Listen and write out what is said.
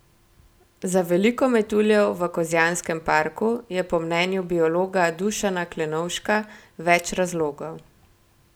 Za veliko metuljev v Kozjanskem parku je po mnenju biologa Dušana Klenovška več razlogov.